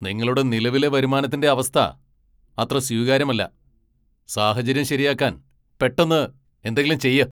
നിങ്ങളുടെ നിലവിലെ വരുമാനത്തിന്റെ അവസ്ഥ അത്ര സ്വീകാര്യമല്ല. സാഹചര്യം ശരിയാക്കാൻ പെട്ടന്ന് എന്തെങ്കിലും ചെയ്യ്.